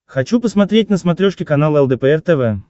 хочу посмотреть на смотрешке канал лдпр тв